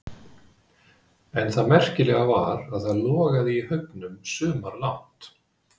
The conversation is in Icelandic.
En það merkilega var að það logaði í haugunum sumarlangt.